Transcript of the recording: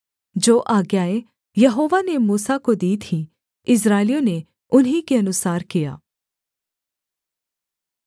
जो आज्ञाएँ यहोवा ने मूसा को दी थीं इस्राएलियों ने उन्हीं के अनुसार किया